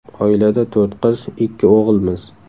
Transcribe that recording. Oilada to‘rt qiz, ikki o‘g‘ilmiz.